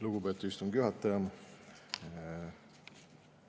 Lugupeetud istungi juhataja!